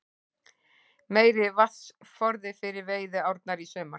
Meiri vatnsforði fyrir veiðiárnar í sumar